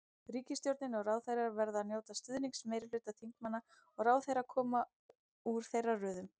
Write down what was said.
Ríkisstjórnin og ráðherrar verða að njóta stuðnings meirihluta þingmanna og ráðherrar koma úr þeirra röðum.